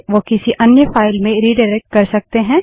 वो किसी अन्य फाइल में रिडाइरेक्ट कर सकते हैं